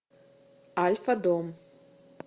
альфа дом